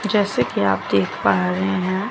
जैसे कि आप देख पा रहे हैं।